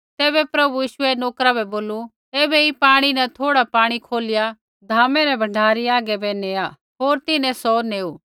तैबै प्रभु यीशुऐ नोकरा बै बोलू ऐबै ऐई पाणी न थोड़ा पाणी खोलिया भोजे रै भण्डारी हागै बै नेया होर तिन्हैं सौ नैऊ